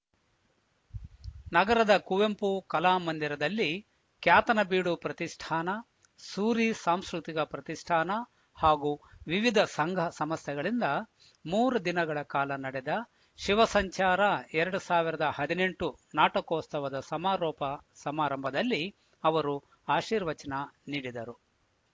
ನಗರದ ಕುವೆಂಪು ಕಲಾ ಮಂದಿರದಲ್ಲಿ ಕ್ಯಾತನಬೀಡು ಪ್ರತಿಷ್ಠಾನ ಸೂರಿ ಸಾಂಸ್ಕೃತಿಕ ಪ್ರತಿಷ್ಠಾನ ಹಾಗೂ ವಿವಿಧ ಸಂಘ ಸಂಸ್ಥೆಗಳಿಂದ ಮೂರು ದಿನಗಳ ಕಾಲ ನಡೆದ ಶಿವಸಂಚಾರ ಎರಡ್ ಸಾವಿರದ ಹದಿನೆಂಟು ನಾಟಕೋತ್ಸವದ ಸಮಾರೋಪ ಸಮಾರಂಭದಲ್ಲಿ ಅವರು ಆಶೀರ್ವಚನ ನೀಡಿದರು